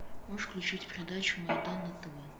можешь включить передачу майдан на тв